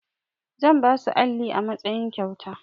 Zan ba su alli a matsayin kyauta.